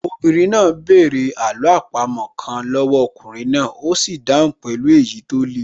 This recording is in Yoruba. Obìnrin náà bẹ̀rẹ̀ àló àpamọ́ kan lọ́wọ́ ọkùnrin náà, ó sì dáhùn pẹ̀lú èyí tó le